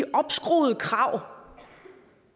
opskruede krav